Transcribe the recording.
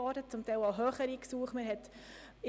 Teilweise waren die Gesuche auch höher.